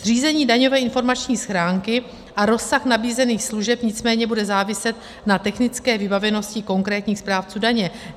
Zřízení daňové informační schránky a rozsah nabízených služeb nicméně bude záviset na technické vybavenosti konkrétních správců daně.